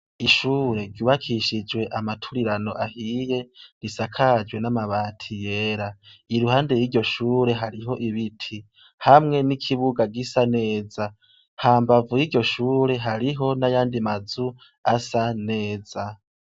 Ishure ryubakishijwe amaturirano ahiye, risakajwe n'amabati yera. Iruhande y ' iryo shure, hariho ibiti hamwe n'ikibuga gisa neza. Hambavu y'iryo shure, hariho n'ayandi mazu asa neza.